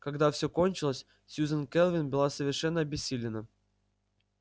когда всё кончилось сьюзен кэлвин была совершенно обессилена